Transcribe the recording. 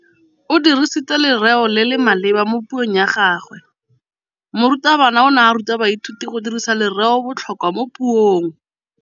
O dirisitse lerêo le le maleba mo puông ya gagwe. Morutabana o ne a ruta baithuti go dirisa lêrêôbotlhôkwa mo puong.